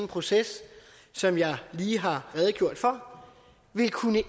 proces som jeg lige har redegjort for vil kunne